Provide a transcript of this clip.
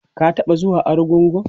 ka taɓa zuwa argungu?